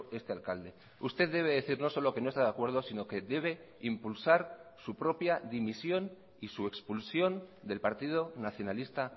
este alcalde usted debe decir no solo que no está de acuerdo sino que debe impulsar su propia dimisión y su expulsión del partido nacionalista